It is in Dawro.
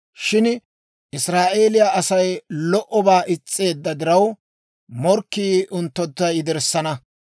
Shin Israa'eeliyaa Asay lo"obaa is's'eedda diraw, morkkii unttuntta yederssana.